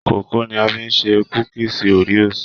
kókó ni a fi ṣe kúkísí Oreos.